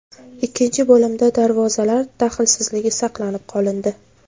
Ikkinchi bo‘limda darvozalar daxlsizligi saqlanib qolindi.